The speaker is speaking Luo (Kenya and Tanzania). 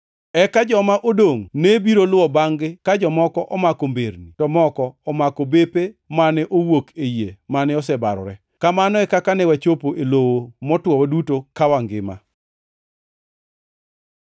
Eka joma odongʼ ne biro luwo bangʼ-gi ka jomoko omako mberni, to moko omako bepe mane owuok e yie mane osebarore. Kamano e kaka ne wachopo e lowo motwo waduto ka wangima.